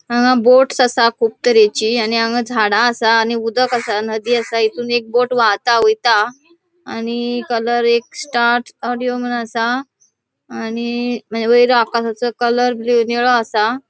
हांगा बोट्स असा कुब तरेची आणि हांगा झाडा असा आणि उदक असा नदी असा इतऊँ एक बोट वाहाता वयता आणि कलर एक स्टार्ट ऑडिओ मून असा आणि वयर आकाशाचो कलर ब्लू निळो असा.